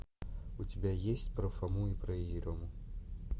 у тебя есть про фому и про ерему